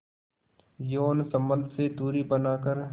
यौन संबंध से दूरी बनाकर